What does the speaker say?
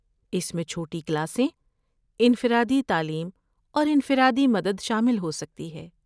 اس میں چھوٹی کلاسیں، انفرادی تعلیم اور انفرادی مدد شامل ہو سکتی ہے۔